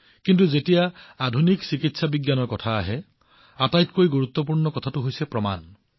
কিন্তু যেতিয়া আধুনিক চিকিৎসা বিজ্ঞানৰ কথা আহে তেতিয়া আটাইতকৈ গুৰুত্বপূৰ্ণ কথাটো হল প্ৰমাণ